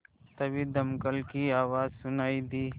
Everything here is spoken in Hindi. तभी दमकल की आवाज़ सुनाई दी